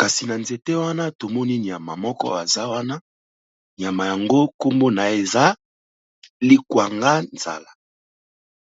kasi na nzete wana tomoni nyama moko aza wana nyama yango kombo na ye eza likwanga nzala.